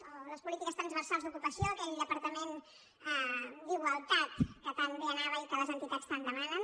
o les polítiques transversals d’ocupació aquell departament d’igualtat que tan bé anava i que les entitats tant demanen